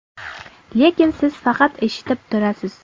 Lekin siz faqat eshitib turasiz.